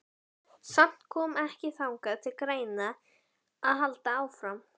Samt kom ekki annað til greina en að halda áfram.